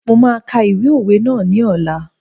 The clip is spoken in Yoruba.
Mo máa ka ìwé òwe ná ní ọ̀la.